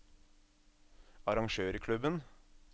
arrangørklubben